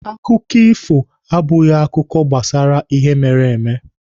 Akụkọ ifo abụghị akụkọ gbasara ihe mere eme.